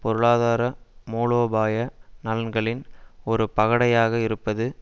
பொருளாதார மூலோபாய நலன்களின் ஒரு பகடையாக இருப்பது